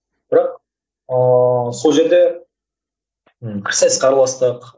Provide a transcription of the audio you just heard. бірақ ыыы сол жерде пікірсайысқа араластық